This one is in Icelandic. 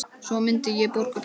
Svo myndi ég borga peninga